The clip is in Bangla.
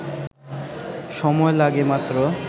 সময় লাগে মাত্র